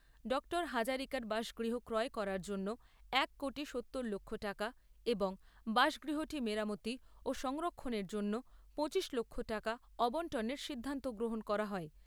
Doctor হাজারিকার বাসগৃহ ক্রয় করার জন্য এক কোটি সত্তর লক্ষ টাকা এবং বাসগৃহটি মেরামতি ও সংরক্ষণের জন্য পঁচিশ লক্ষ টাকা আবন্টনের সিদ্ধান্ত গ্রহণ করা হয়।